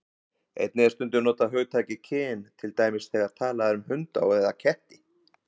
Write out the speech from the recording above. Einnig er stundum notað hugtakið kyn, til dæmis þegar talað er um hunda eða ketti.